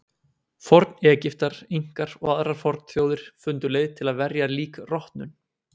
Forn-Egyptar, Inkar og aðrar fornþjóðir fundu leið til að verja lík rotnun.